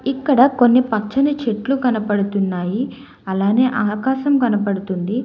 ఇక్కడ కొన్ని పచ్చని చెట్లు కనపడుతున్నాయి అలానే ఆకాశం కనబడుతుంది.